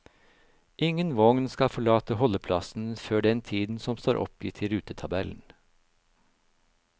Ingen vogn skal forlate holdeplassen før den tiden som står oppgitt i rutetabellen.